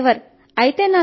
నాన్న డ్రైవర్